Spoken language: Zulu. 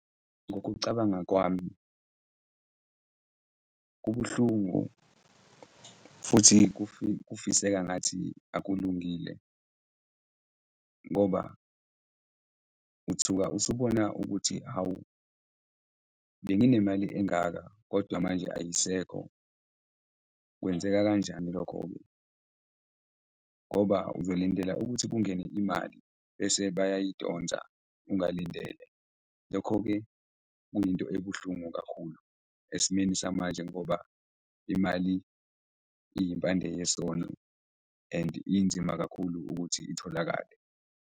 Ngokucabanga kwami, kubuhlungu futhi kufiseka ngathi akulungile ngoba uthuka usubona ukuthi hhawu, benginemali engaka kodwa manje ayisekho, kwenzeka kanjani lokho-ke ngoba uzolindela ukuthi kungene imali bese bayayidonsa ungalindele. Lokho-ke kuyinto ebuhlungu kakhulu esimeni samanje ngoba imali iyimpandeyesono and inzima kakhulu ukuthi itholakale.